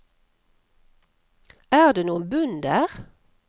Er det noen bunn der?